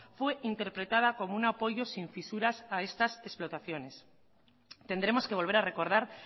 fue interpretada como un apoyo sin fisuras a estas explotaciones tendremos que volver a recordar